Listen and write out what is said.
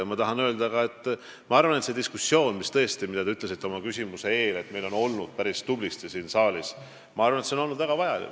Ma tahan veel öelda, et see diskussioon, mille kohta te ütlesite oma küsimuses, et me oleme seda pidanud päris tublisti siin saalis, on olnud väga vajalik.